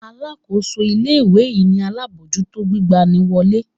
Alákóso ilé-ìwé ni alábòójútó gbigba ni wọlé.